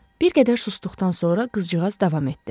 Bir qədər susduqdan sonra qızcığaz davam etdi: